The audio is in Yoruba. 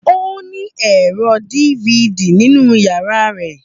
Ó ní ẹ̀rọ DVD nínú yàrá rẹ̀.